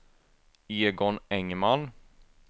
Egon Engman